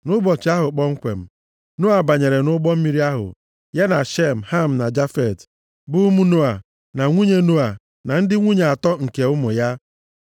Nʼụbọchị ahụ kpomkwem, Noa banyere nʼụgbọ mmiri ahụ, ya na Shem, Ham na Jafet, bụ ụmụ Noa, na nwunye Noa, na ndị nwunye atọ nke ụmụ ya.